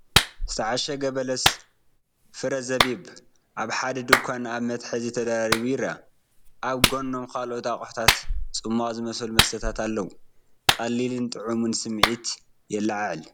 ዝተዓሸገ በለስ (ፍረ ዘቢብ) ኣብ ሓደ ድኳን ኣብ መትሓዚ ተደራሪቡ ይርአ። ኣብ ጎኖም ካልኦት ኣቑሑትን ጽማቝ ዝመስሉ መስተታትን ኣለዉ። ቀሊልን ጥዑምን ስምዒት ድማ የለዓዕል።